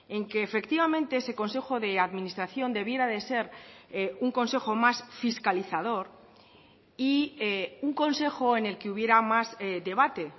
en que efectivamente ese consejo de administración debiera de ser un consejo más fiscalizador y un consejo en el que hubiera más debate